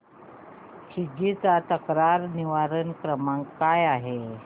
Swiggy चा तक्रार निवारण क्रमांक काय आहे